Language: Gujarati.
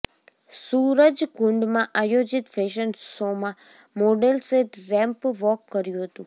સૂરજકુંડમાં આયોજિત ફેશન શોમાં મોડેલ્સે રેમ્પ વોક કર્યું હતું